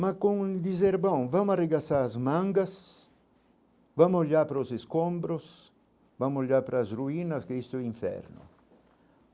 Mas com o dizerbão, vamo arregaçar as mangas, vamo olhar para os escombros, vamo olhar para as ruínas que estão em inferno.